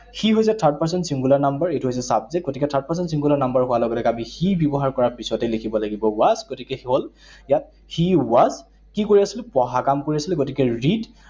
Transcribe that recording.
সি হৈছে third person singular number, এইটো হৈছে subject । গতিকে third person singular number হোৱা লগে লগে আমি সি ব্যৱহাৰ কৰাৰ পিছতেই লিখিব লাগিব was, গতিকে এইটো হল ইয়াত he was, কি কৰি আছিলে? পঢ়া কাম কৰি আছিলে। গতিকে read